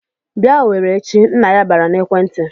"Bịa Owerri échi!" Nna ya bara n'ekwentị.